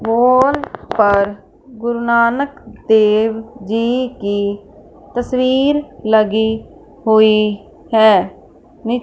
पोल पर गुरुनानन देव जी की तस्वीर लगी हुईं हैं मि--